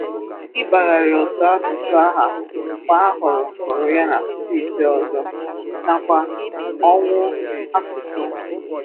Ịbàgharị otu asụ̀sụ̀ aha mgbe a hụrụ hụrụ ya na steeti ọzọ, nakwa ọnwụ asụ̀sụ̀.